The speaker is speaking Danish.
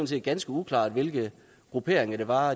set ganske uklart hvilke grupperinger det var